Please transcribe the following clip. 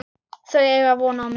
Þau eiga von á mér.